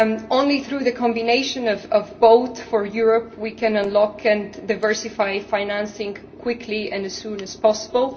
Only through the combination of both for Europe can we unlock and diversify financing quickly and as soon as possible.